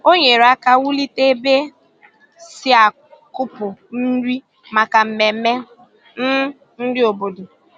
Ọ nyerè aka wùlite ebe e si akùpụ nri maka mmemme um nri obodo.